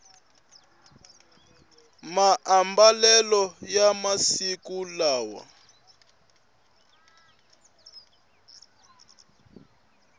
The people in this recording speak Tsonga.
maambalelo ya masiku lawa